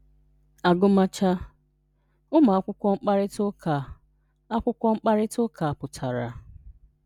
agụmacha. ụmụ akwụkwọ mkparịta ụka akwụkwọ mkparịta ụka pụtara